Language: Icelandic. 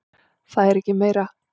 Það er ekki meira.